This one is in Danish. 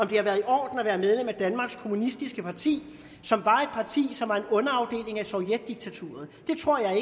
det var i orden at være medlem af danmarks kommunistiske parti som var et parti som var en underafdeling af sovjetdiktaturet det tror jeg